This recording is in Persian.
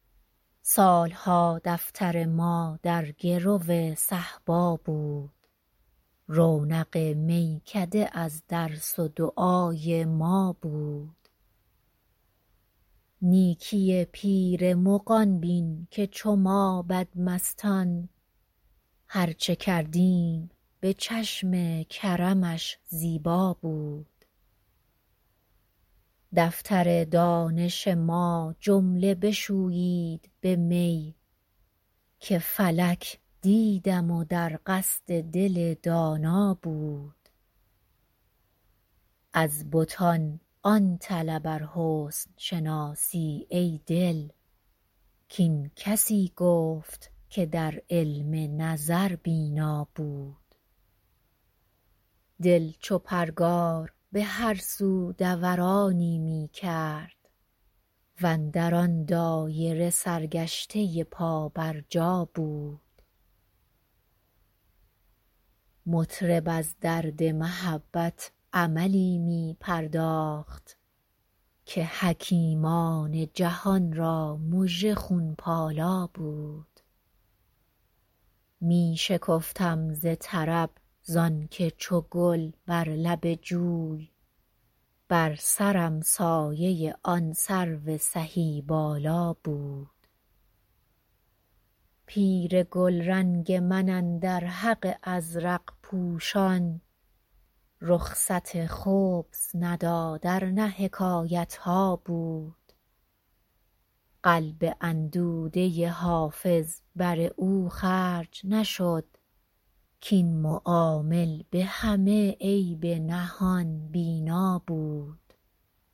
سال ها دفتر ما در گرو صهبا بود رونق میکده از درس و دعای ما بود نیکی پیر مغان بین که چو ما بدمستان هر چه کردیم به چشم کرمش زیبا بود دفتر دانش ما جمله بشویید به می که فلک دیدم و در قصد دل دانا بود از بتان آن طلب ار حسن شناسی ای دل کاین کسی گفت که در علم نظر بینا بود دل چو پرگار به هر سو دورانی می کرد و اندر آن دایره سرگشته پابرجا بود مطرب از درد محبت عملی می پرداخت که حکیمان جهان را مژه خون پالا بود می شکفتم ز طرب زان که چو گل بر لب جوی بر سرم سایه آن سرو سهی بالا بود پیر گلرنگ من اندر حق ازرق پوشان رخصت خبث نداد ار نه حکایت ها بود قلب اندوده حافظ بر او خرج نشد کاین معامل به همه عیب نهان بینا بود